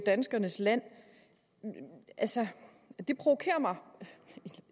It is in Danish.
danskernes land altså det provokerer mig